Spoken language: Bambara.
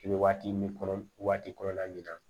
I bɛ waati min kɔnɔ waati kɔnɔna min na